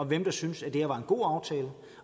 hvem der syntes at det her var en god aftale